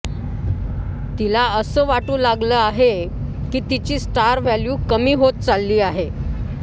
तिला असं वाटू लागले आहे की तिची स्टार वॅल्यू कमी होत चालली आहे